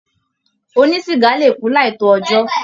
Ònísiga le ku láì to ọjọ.